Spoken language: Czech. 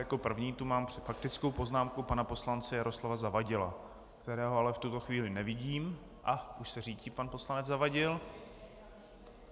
Jako první tu mám faktickou poznámku pana poslance Jaroslava Zavadila, kterého ale v tuto chvíli nevidím... a už se řítí pan poslanec Zavadil.